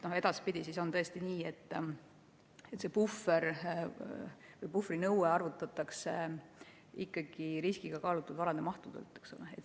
Edaspidi on tõesti nii, et puhvri nõue arvutatakse ikkagi riskiga kaalutud varade mahu põhjal.